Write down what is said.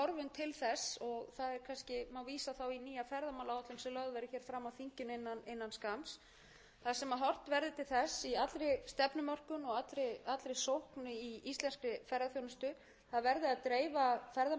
til þess og það má kannski vísa þá í nýja ferðamálaáætlun sem lögð verður hér fram á þinginu innan skamms þar sem horft verður til þess í allri stefnumörkun og allri sókn í íslenskri ferðaþjónustu að það verði að dreifa ferðamönnum betur yfir árið hér